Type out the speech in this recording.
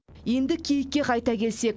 енді киікке қайта келсек